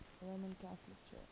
roman catholic church